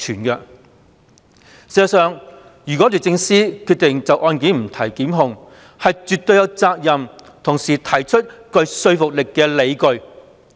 事實上，如果律政司決定就案件不提檢控，是絕對有責任同時提出具說服力的理據。